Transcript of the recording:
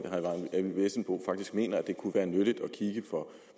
eyvind vesselbo faktisk mener at det kunne være nyttigt at kigge på